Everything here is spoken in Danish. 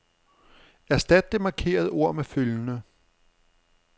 Erstat det markerede ord med følgende.